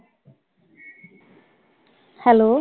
hello